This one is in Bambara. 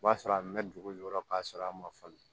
O b'a sɔrɔ a mɛn dugu jukɔrɔ k'a sɔrɔ a ma falen